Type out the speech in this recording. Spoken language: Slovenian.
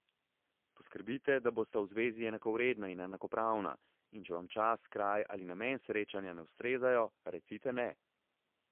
Poskrbite, da bosta v zvezi enakovredna in enakopravna in če vam čas, kraj ali namen srečanja ne ustrezajo, recite ne.